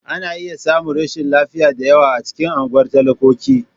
Ana iya samun rashin lafiya da yawa a cikin unguwar talakoki.